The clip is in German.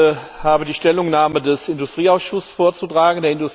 Ich habe die Stellungnahme des Industrieausschusses vorzutragen.